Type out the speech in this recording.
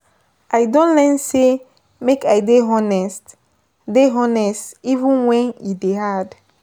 I don learn sey make I dey honest dey honest even wen e dey hard.